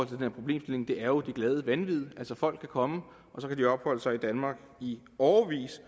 den her problemstilling det er jo det glade vanvid folk kan komme og så kan de opholde sig i danmark i årevis